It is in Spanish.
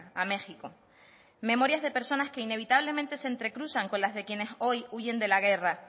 a méxico memorias de personas que inevitablemente se entrecruzan con las que quienes hoy huyen de la guerra